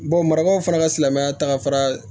maraw fana ka silamɛya taga